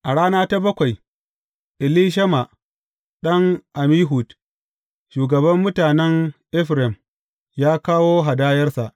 A rana ta bakwai, Elishama ɗan Ammihud, shugaban mutanen Efraim, ya kawo hadayarsa.